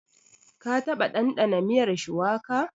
Ka taɓa ɗanɗana miyar shuwaka?